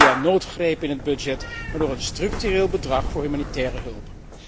Niet via noodgrepen in het budget, maar door een structureel bedrag voor humanitaire hulp.